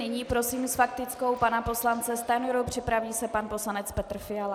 Nyní prosím s faktickou pana poslance Stanjuru, připraví se pan poslanec Petr Fiala.